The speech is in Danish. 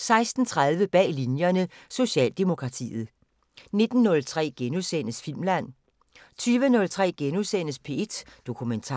16:30: Bag Linjerne – Socialdemokratiet 19:03: Filmland * 20:03: P1 Dokumentar *